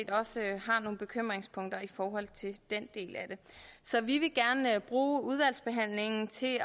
også har nogle bekymringspunkter i forhold til den del af det så vi vil gerne bruge udvalgsbehandlingen til